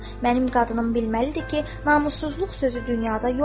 Mənim qadınım bilməlidir ki, namussuzluq sözü dünyada yoxdur.